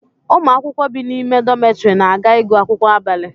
Ụmụ akwụkwọ bi n'ime dọmetiri na-aga ịgụ akwụkwọ abalị